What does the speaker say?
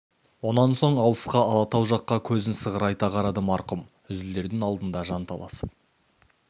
онан соң алысқа алатау жаққа көзін сығырайта қарады марқұм үзілердің алдында жанталасып